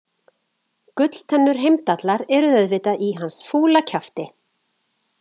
Gulltennur Heimdallar eru auðvitað í hans fúla kjafti.